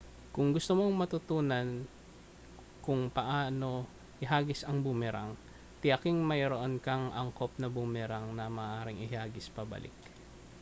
kung gusto mong matutuhan kung paano ihagis ang boomerang tiyaking mayroon kang angkop na boomerang na maaaring ihagis pabalik